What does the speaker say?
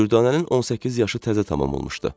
Dürdanənin 18 yaşı təzə tamam olmuşdu.